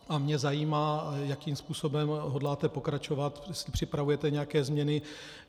A mě zajímá, jakým způsobem hodláte pokračovat, jestli připravujete nějaké změny.